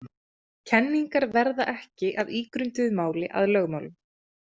Kenningar verða ekki að ígrunduðu máli að lögmálum.